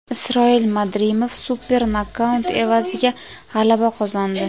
Isroil Madrimov super nokaut evaziga g‘alaba qozondi.